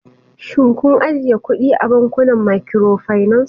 Shin kun ajiye kudi a bankunan microfinance?